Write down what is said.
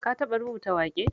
Ka taɓa rubuta waƙe?